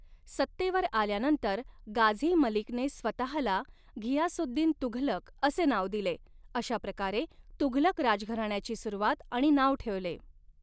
सत्तेवर आल्यानंतर, गाझी मलिकने स्वतःला घियासुद्दीन तुघलक असे नाव दिले, अशा प्रकारे तुघलक राजघराण्याची सुरुवात आणि नाव ठेवले.